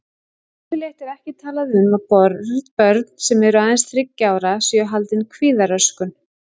Yfirleitt er ekki talað um að börn sem eru aðeins þriggja ára séu haldin kvíðaröskun.